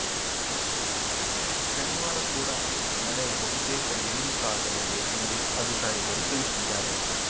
ಶನಿವಾರ ಕೂಡ ಮಳೆ ಬಹುತೇಕ ಇಳಿಮುಖ ಆಗಲಿದೆ ಎಂದು ಅಧಿಕಾರಿಗಳು ತಿಳಿಸಿದ್ದಾರೆ